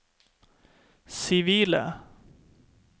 sivile